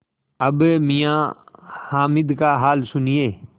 अब मियाँ हामिद का हाल सुनिए